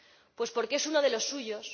Pues porque es uno de los suyos.